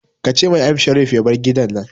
Ka ce ma M Sharif ya bar gidan nan